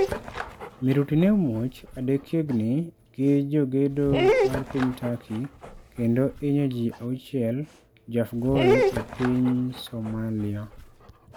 Miruti ne omuoch adekiegni gi jogedo mar piny Turkey kendo hinyo ji 6 jo Afgoye e piny soamlia.